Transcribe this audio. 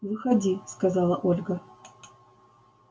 выходи сказала ольга